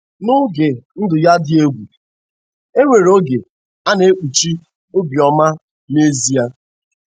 N'oge ndụ ya dị egwu, e nwere oge a na-ekpuchi Obioma n'ezie.